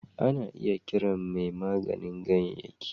Ana iya kiran mai maganin ganyayyaki